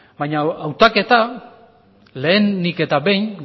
baina hautaketa lehenik eta behin